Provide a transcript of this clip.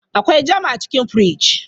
Akwai jam a cikin firij.